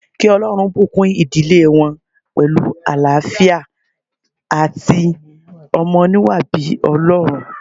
Kí Olórun bùkún ìdílé wọn pẹ̀lú àlááfíà àti ọmọ oníwà bíi Ọlọ́run